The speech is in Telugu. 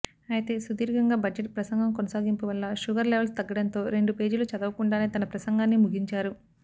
అయితే సుదీర్ఘంగా బడ్జెట్ ప్రసంగం కొనసాగింపు వల్ల షుగర్ లెవల్స్ తగ్గడంతో రెండు పేజీలు చదవకుండానే తన ప్రసంగాన్ని ముగించారు